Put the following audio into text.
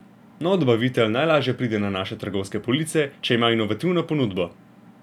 Nov dobavitelj najlaže pride na naše trgovske police, če ima inovativno ponudbo.